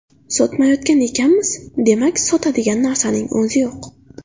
Sotmayotgan ekanmiz, demak, sotadigan narsaning o‘zi yo‘q”.